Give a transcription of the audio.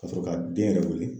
Ka sɔrɔ ka den yɛrɛ weele